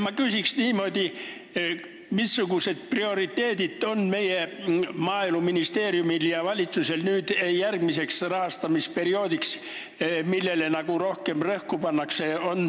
Ma küsiks niimoodi: missugused prioriteedid meie Maaeluministeeriumil ja valitsusel nüüd järgmiseks rahastamisperioodiks on?